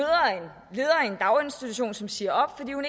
daginstitution som siger op fordi